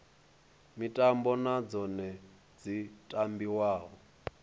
mitambo na dzone dzi tambiwa